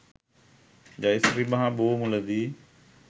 ජය ශ්‍රී මහා බෝ මුල දී